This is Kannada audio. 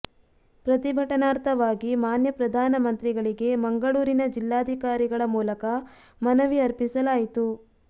ಪ್ರತಿಭಟನಾರ್ಥವಾಗಿ ಮಾನ್ಯ ಪ್ರಧಾನ ಮಂತ್ರಿಗಳಿಗೆ ಮಂಗಳೂರಿನ ಜಿಲ್ಲಾಧಿಕಾರಿಗಳ ಮೂಲಕ ಮನವಿ ಅರ್ಪಿಸಲಾಯಿತು